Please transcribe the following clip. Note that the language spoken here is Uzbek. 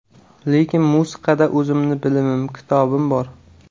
Lekin musiqada o‘zimni bilimim, kitobim bor.